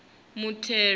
muthelo